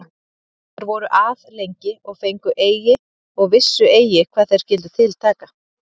Þeir voru að lengi og fengu eigi, og vissu eigi hvað þeir skyldu til taka.